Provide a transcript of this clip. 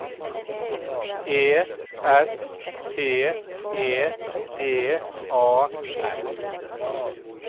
E S P E D A L